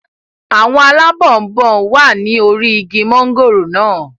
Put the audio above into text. Àwọn alábọnbon wà ní orí igi mọ́ngòrò naa